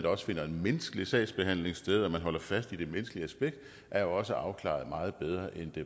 også finder en menneskelig sagsbehandling sted og at man holder fast i det menneskelige aspekt er også afklaret meget bedre end